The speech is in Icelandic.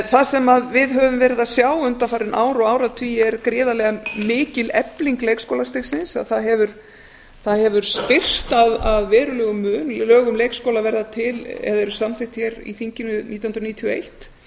það sem við höfum verið að sjá undanfarin ár og áratugi er gríðarlega mikil efling leikskólastigsins það hefur styrkst að verulegum mun lög um leikskóla verða til eða eru samþykkt hér í þinginu nítján hundruð níutíu og eitt